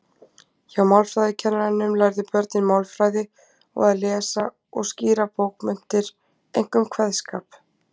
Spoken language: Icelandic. Hjá málfræðikennaranum lærðu börnin málfræði og að lesa og skýra bókmenntir, einkum kveðskap.